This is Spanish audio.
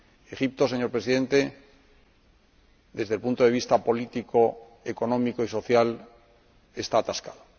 Egipto, señor Presidente, desde el punto de vista político, económico y social, está atascado.